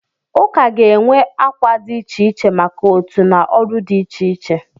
Ụka ga-enwe akwa dị iche iche maka otu na ọrụ dị iche iche.